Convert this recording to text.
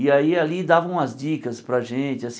E aí ali davam umas dicas para a gente assim.